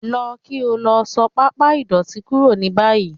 Lọ kí o lọ só pàmpá ìdọ́tì kúrò ní báyì